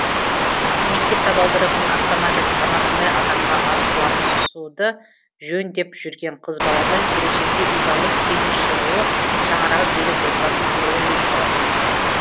мектеп табалдырығын аттамай жатып анасындай адамға арсыласуды жөн деп жүрген қыз баладан келешекте ибалы келін шығуы шаңырағы берік отбасының құрылуы екі талай